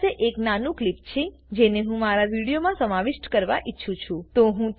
મારી પાસે એક નાનું ક્લીપ છે જેને હું મારા વિડીયોમાં સમાવિષ્ટ કરવા ઈચ્છું છું